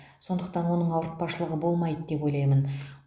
сондықтан оның ауыртпашылығы болмайды деп ойлаймын